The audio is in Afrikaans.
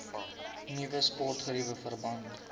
nuwe sportgeriewe verband